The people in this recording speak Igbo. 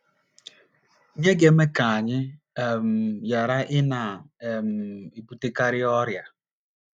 NYỊ GA - EME KA ANYỊ um GHARA ỊNA um - EBUTEKARỊ ỌRỊA